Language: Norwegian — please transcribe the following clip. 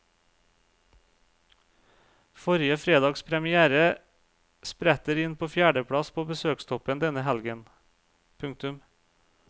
Forrige fredags première spretter inn på fjerdeplass på besøkstoppen denne helgen. punktum